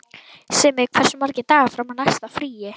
Simmi, hversu margir dagar fram að næsta fríi?